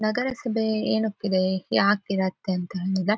ನಗರ ಸಭೆ ಏನಕ್ಕಿದೆ ಯಾಕ್ ಇರತ್ತೆ ಅಂತ ತಿಳಿಯಂಗಿಲ್ಲ .